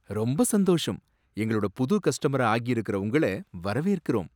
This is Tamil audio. ரொம்ப சந்தோஷம், எங்களோட புது கஸ்டமரா ஆகியிருக்குற உங்களை வரவேற்கிறோம்.